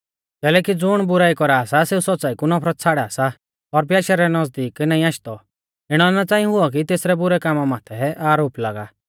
कैलैकि ज़ुण बुराई कौरा सा सेऊ सौच़्च़ाई कु नफरत छ़ाड़ा सा और प्याशै रै नज़दीक नाईं आशदौ इणौ ना च़ांई हुऔ कि तेसरै बुरै कामा माथै आरोप लागा